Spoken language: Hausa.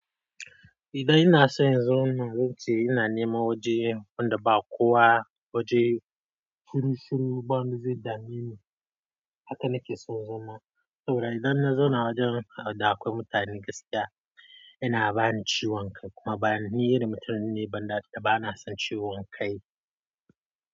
Idan ina son in zo, na wuce ina neman waje wanda ba kowa waje shiru shiru ba, wanda zai dami ni. Haka nake son zama. Saboda idan na zauna wajen da akwai mutane gaskiya, yana bani ciwon kai kuma ba ni irin mutum ne banda da bana son ciwon kai.